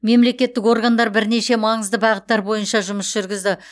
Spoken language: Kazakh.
мемлекеттік органдар бірнеше маңызды бағыттар бойынша жұмыс жүргізді